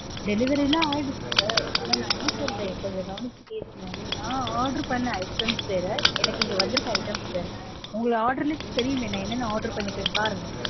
delivery லாம் ஆயிருச்சு sir. ஆனா நா என்ன சொல்றேன் கொஞ்சம் கவனிச்சு கேளுங்க. நா order பண்ண items வேற எனக்கு இங்க வந்திருக்க items வேற. உங்க order லயே தெரியுமே நா என்னென்ன order பண்ணிருக்கேனு